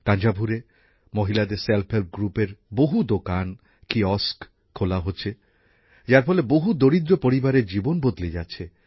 তাঞ্জাভুরে মহিলাদের স্বনির্ভর গোষ্ঠীর বহু দোকান কিয়স্ক খোলা হচ্ছে যার ফলে বহু দরিদ্র পরিবারের জীবন বদলে যাচ্ছে